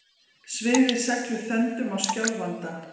Svifið seglum þöndum á Skjálfanda